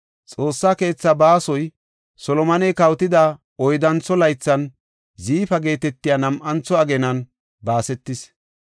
Xoossaa keethaa baasoy Solomoney kawotida oyddantho laythan, Ziifa geetetiya nam7antho ageenan baasetis.